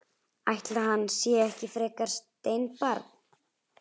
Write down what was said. Ætli hann sé ekki frekar steinbarn.